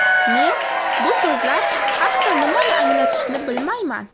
Men bu so‘zlar hatto nimani anglatishini bilmayman.